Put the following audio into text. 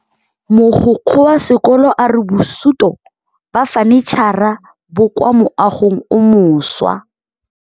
Mogokgo wa sekolo a re bosutô ba fanitšhara bo kwa moagong o mošwa.